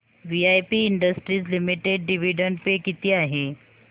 VIP industries limited dividend pay किती आहे